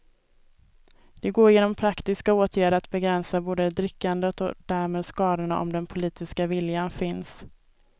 Det går genom praktiska åtgärder att begränsa både drickandet och därmed skadorna om den politiska viljan finns.